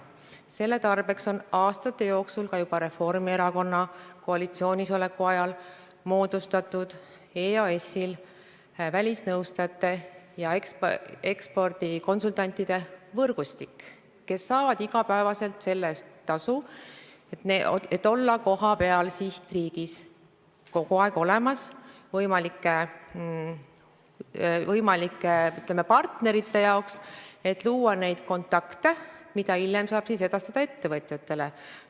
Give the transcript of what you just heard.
Selle tarbeks on aastate jooksul, juba Reformierakonna koalitsioonis oleku ajal, moodustatud EAS-il välisnõustajate ja ekspordikonsultantide võrgustik, kes saavad igapäevaselt tasu selle eest, et sihtriigis kohapeal võimalike partnerite jaoks kogu aeg olemas olla ja luua kontakte, mida hiljem edastada ettevõtjatele.